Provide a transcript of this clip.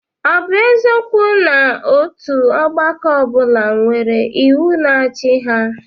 Ọ bụ eziokwu na otu ọgbakọ ọ bụla nwere iwu na-achị ha?